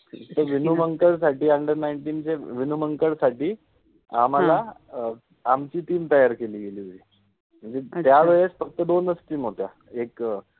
विनोमंगल. साठि under nineteen {under ninteen}. साठि आम्हाला आमचि टिम तैयार केलि गेलि होति, मनजे त्यावेळेस फक्त दोनच टिम होत्या, एक